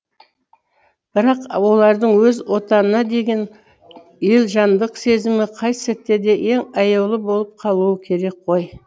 бірақ олардың өз отанына деген елжандық сезімі қай сәтте де ең аяулы болып қалуы керек қой